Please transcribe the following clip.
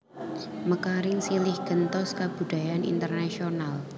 Mekaring silih gentos kabudayan internasional